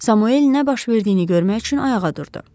Samuel nə baş verdiyini görmək üçün ayağa durdu.